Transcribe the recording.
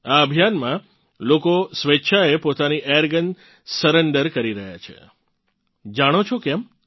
આ અભિયાનમાં લોકો સ્વેચ્છાએ પોતાની એરગન સરેંડર કરી રહ્યાં છે જાણો છો કેમ